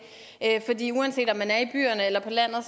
fordi uanset om man er i byerne eller på landet